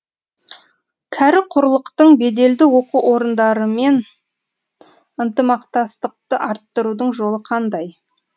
кәрі құрлықтың беделді оқу орындарымен ынтымақтастықты арттырудың жолы қандай